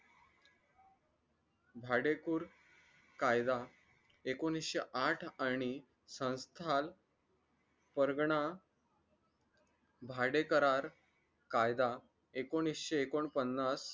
भाडेकुर कायदा एकोणीशे आठ आणि संस्काल वर्गना भाडे करार कायदा एकोणीशे एकोणपन्नास